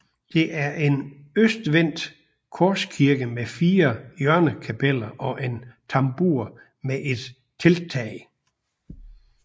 Det er en østvendt korskirke med fire hjørnekapeller og en tambur med et telttag